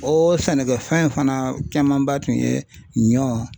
O sɛnɛkɛfɛn fana camanba tun ye ɲɔ.